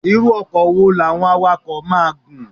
Irú ọkọ̀ wo làwọn awakọ̀ á máa gùn?